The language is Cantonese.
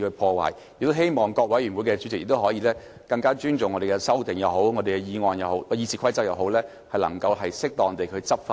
我亦希望各委員會的主席，可以更尊重經修訂的《議事規則》，能夠適當執行。